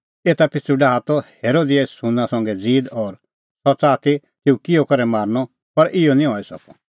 एता पिछ़ू डाहा ती हेरोदियास युहन्ना संघै ज़ीद और सह च़ाहा ती तेऊ किहअ करै मारनअ पर इहअ निं हई सकअ